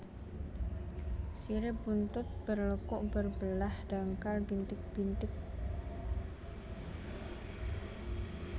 Sirip buntut berlekuk berbelah dangkal bintik bintik